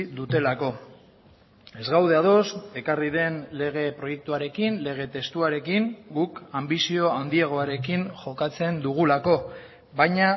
dutelako ez gaude ados ekarri den lege proiektuarekin lege testuarekin guk anbizio handiagoarekin jokatzen dugulako baina